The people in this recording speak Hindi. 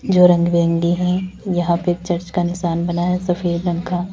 जो रंग बिरंगी है यहां पे चर्च का निशान बना है सफेद रंग का।